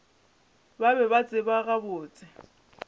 ba be ba tseba gabotse